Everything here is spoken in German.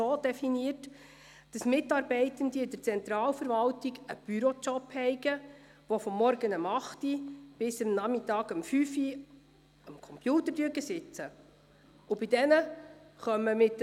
Es ist zwar nett, wenn meine Planungserklärung vom Regierungsrat zur Interpretation herangezogen wird.